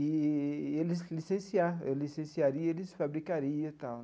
Eee e eles licenciar, eles licenciaria eles fabricaria e tal.